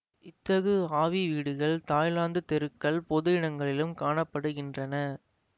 இத்தகு ஆவி வீடுகள் தாய்லாந்துத் தெருக்கள் பொது இடங்களிலும் காண படுகின்றன